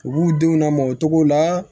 U b'u denw lamɔcogo la